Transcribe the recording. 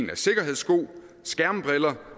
af sikkerhedssko skærmbriller